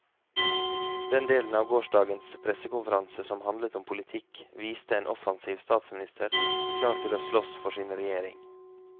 Den delen av gårsdagens pressekonferanse som handlet om politikk, viste en offensiv statsminister, klar til å slåss for sin regjering.